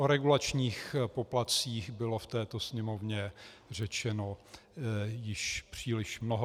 O regulačních poplatcích bylo v této Sněmovně řečeno již příliš mnoho.